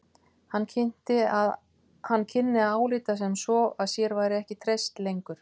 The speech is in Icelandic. Hann kynni að álíta sem svo að sér væri ekki treyst lengur.